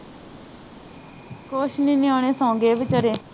ਕੁਛ ਨੀ ਨਿਆਣੇ ਸੋਗੇ, ਇਹ ਭੀ ਘਰੇ